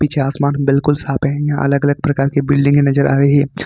पीछे आसमान बिल्कुल साफ है यहां अलग अलग प्रकार की बिल्डिंगें नजर आ रही है।